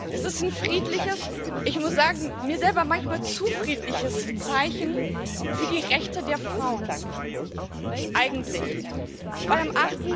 Es ist ein friedliches ich muss sagen, mir selber manchmal zu friedliches Zeichen für die Rechte der Frauen. Eigentlich denn am